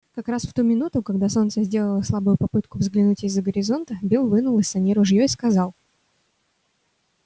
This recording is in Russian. как раз в ту минуту когда солнце сделало слабую попытку взглянуть из-за горизонта бил вынул из саней ружьё и сказал